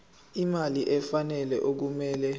imali efanele okumele